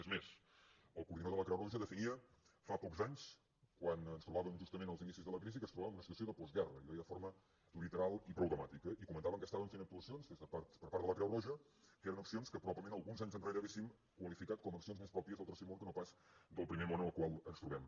és més el coordinador de la creu roja definia fa pocs anys quan ens trobàvem justament als inicis de la crisi que ens trobàvem en una situació de postguerra i ho deia de forma literal i prou dramàtica i comentaven que estaven fent actuacions per part de la creu roja que eren accions que probablement alguns anys enrere hauríem qualificat com a accions més pròpies del tercer món que no pas del primer món en el qual ens trobem